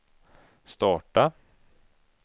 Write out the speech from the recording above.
starta